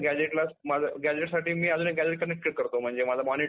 gazetteसाठी मी अजून एक gazette connect करतो म्हणजे माझा monitor